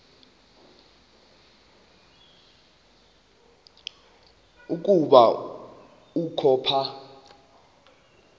ukuba ukho apha